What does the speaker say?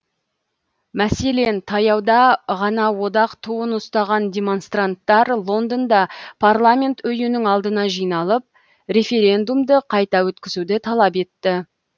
мәселен таяуда ғана одақ туын ұстаған демонстранттар лондонда парламент үйінің алдына жиналып референдумды қайта өткізуді талап етті